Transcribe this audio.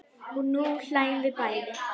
Og nú hlæjum við bæði.